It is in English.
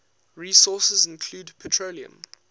resources include petroleum